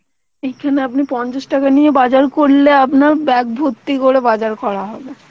এখানে আপনি পঞ্চাশ টাকা নিয়ে বাজার করলে আপনার bag ভর্তি করে বাজার করা হবে